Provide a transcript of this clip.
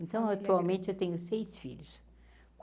Então atualmente eu tenho seis filhos.